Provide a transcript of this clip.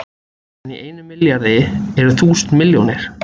En í einum milljarði eru þúsund milljónir!